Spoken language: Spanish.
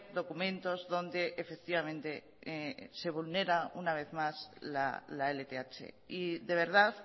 documentos donde efectivamente se vulnera una vez más la lth y de verdad